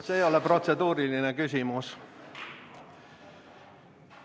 See ei ole protseduuriline küsimus.